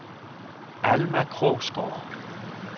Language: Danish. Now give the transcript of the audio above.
Alma Krogsgaard